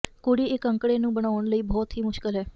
ਕੁੜੀ ਇਹ ਅੰਕੜੇ ਨੂੰ ਬਣਾਉਣ ਲਈ ਬਹੁਤ ਹੀ ਮੁਸ਼ਕਲ ਹੈ